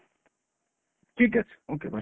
ঠিক আছে, okay bye।